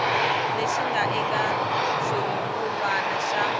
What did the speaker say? lexi nga eka xirungulwana xa